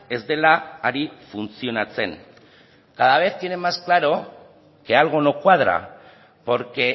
ez dela ari funtzionatzen cada vez tienen más claro que algo no cuadra porque